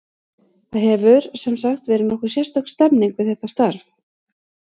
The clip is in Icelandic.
Það hefur, sem sagt, verið nokkuð sérstök stemming við þetta starf.